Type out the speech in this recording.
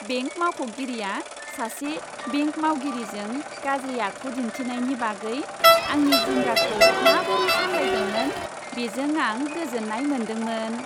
Bank मावख'गिरिया सासे bank मावगिरिजों गाज्रि आखु दिनथिनायनि बागै आंनि जिंगाखौ माबोरै सामलायदोंमोन, बेजों आं गोजोन्नाय मोन्दोंमोन।